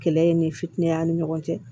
Kɛlɛ ye ni fitiinɛ ni ɲɔgɔn cɛ